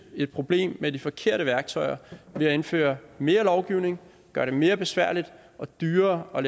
et problem med de forkerte værktøjer nemlig indføre mere lovgivning gøre det mere besværligt og dyrere at